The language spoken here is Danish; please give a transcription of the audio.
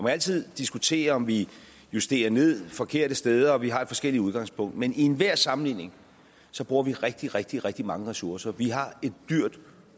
altid diskutere om vi justerer ned de forkerte steder og vi har forskellige udgangspunkter men i enhver sammenligning bruger vi rigtig rigtig rigtig mange ressourcer vi har et dyrt